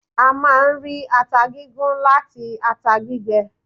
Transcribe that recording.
A máà ń rí ata gígún láti ata gbígbẹ.